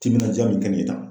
Timinandiya min kɛ nin ye tan.